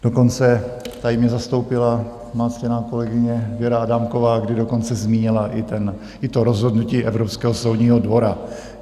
Dokonce tady mě zastoupila má ctěná kolegyně Věra Adámková, kdy dokonce zmínila i to rozhodnutí Evropského soudního dvora.